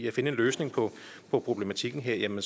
at finde en løsning på problematikken her må